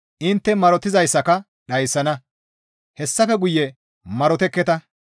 Intte marotizayssaka dhayssana; hessafe guye marotekketa.